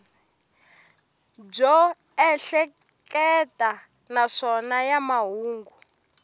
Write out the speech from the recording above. byo ehleketa naswona ya mahungu